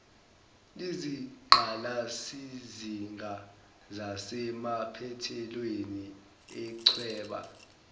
izingqalasizinga zasemaphethweleni echweba